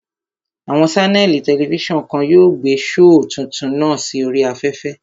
Àwọn ṣánẹ̀lì tẹlifísàn kan yóò gbé shoò tuntun náà sí oríi afẹ́fẹ́